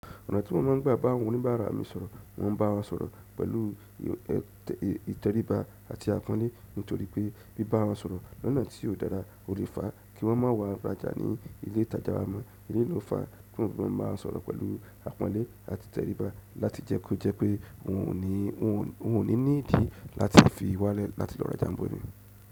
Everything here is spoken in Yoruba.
Ọ̀nà tí wọ́n máa ń gbà bá àwọn oníbàárà mi sọ̀rọ̀, wọ́n ń bá wọn sọ̀rọ̀ pẹ̀lú ìtẹríba àti àpọ́nlé nítorí pé bí bá wọn sọ̀rọ̀ lọ́nà tí ó dára, ó le fa kí wọ́n má wá rajà ní ilé ìtajà wa mọ. Eleyi ló fá, ti mo n fi mọ ń bawon sọ̀rọ̀ pẹ̀lú àpọ́nlé àti ìtẹríba láti jẹ́ kó jẹ́ pé wọn ò ní ní ìdí láti fi wálẹ̀ láti lọ rajà ìbò mi.